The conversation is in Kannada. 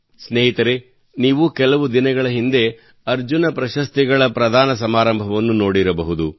ಸ್ನೇಹಿತರೇ ನೀವು ಕೆಲವು ದಿನಗಳ ಹಿಂದೆ ಅರ್ಜುನ್ ಪ್ರಶಸ್ತಿ ಸಮಾರಂಭವನ್ನು ನೋಡಿರಬಹುದು